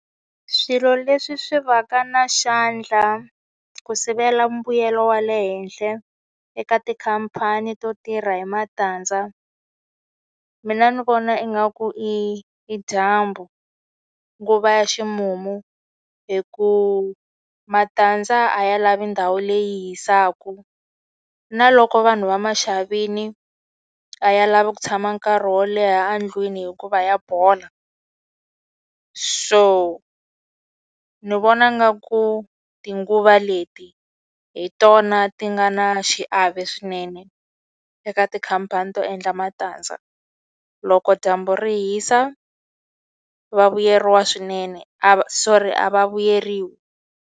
Swilo leswi swi va ka na xandla ku sivela mbuyelo wa le henhla eka tikhampani to tirha hi matandza, mina ni vona ingaku i i dyambu. Nguva ya ximumu. Hikuva matandza a ya lavi ndhawu leyi yi hisaka. Na loko vanhu va ma xavile a ya lavi ku tshama nkarhi wo leha endlwini hikuva ya bola. So ni vona ingaku tinguva leti hi tona ti nga na xiave swinene eka tikhampani to endla matandza. Loko dyambu ri hisa, va vuyeriwa swinene a sorry a va vuyeriwi.